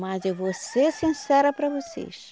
Mas eu vou ser sincera para vocês,